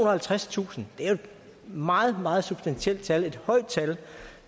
og halvtredstusind det er jo et meget meget substantielt tal et højt tal